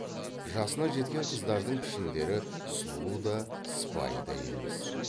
жасына жеткен қыздардың пішіндері сұлу да сыпайы да емес